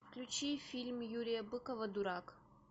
включи фильм юрия быкова дурак